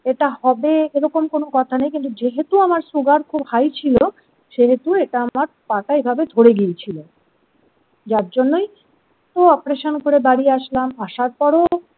এটা হবে এরকম কোন কথা নেই কিন্তু যেহেতু আমার সুগার খুব হাই ছিল সেহেতু এটা আমার পা টা এভাবে ধরে গিয়েছিল যার জন্যই ও অপারেশন করে বাড়ি আসলাম আসার পরও।